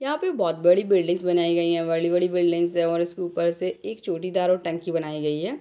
यहां पे बहोत बड़ी बिल्डिंग्स बनाई गई हैं बड़ी-बड़ी बिल्डिंगस हैऔर उसके ऊपर से चोटीदार और टंकी बनाई गई है।